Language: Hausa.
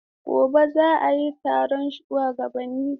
Gobe ​​za'a yi taron shuwagabanni?